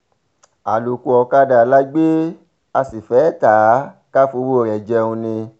àlòkù ọ̀kadà la gbé a sí fee tá a kà fọwọ́ rẹ̀ jẹun ni